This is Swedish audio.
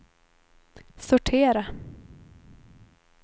sortera